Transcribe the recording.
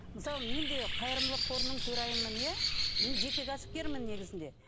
мысалы мен де қайырымдылық қорының төрайымымын иә мен жеке кәсіпкермін негізінде